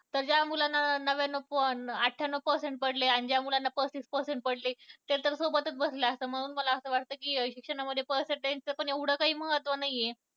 तर ज्या मुलांना नव्याणवू अठ्ठयानऊ percentage पडले ज्या मुलांना पस्तीस टक्के पडले ते सगळे सोबतच बसले असतात म्हणून मला असं वाटतं की शिक्षणामध्ये percentage चे एवढं काही महत्व नाही आहे.